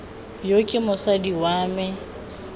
yo ke mosadi wa me